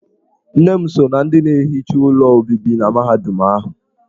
Nne m so ná ndị na-ehicha ụlọ obibi na mahadum ahụ.